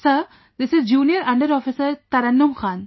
Sir, this is Junior under Officer Tarannum Khan